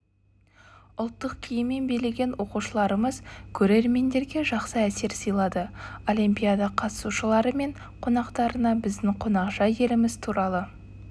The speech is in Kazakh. ұлттық киіммен билеген оқушыларымыз көрермендерге жақсы әсер сыйлады олимпиада қатысушылары мен қонақтарына біздің қонақжай еліміз туралы